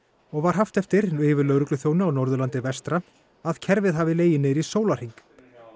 og var haft eftir yfirlögregluþjóni á Norðurlandi að kerfið hafi legið niðri í sólarhring